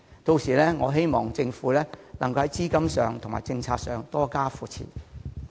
屆時，希望政府能在資金及政策方面多加扶持。